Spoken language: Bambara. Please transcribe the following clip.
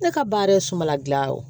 Ne ka baara ye sumala gilan ye